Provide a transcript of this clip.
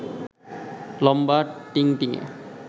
লম্বা টিংটিঙে